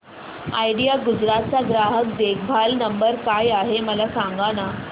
idea Gujarat चा ग्राहक देखभाल नंबर काय आहे मला सांगाना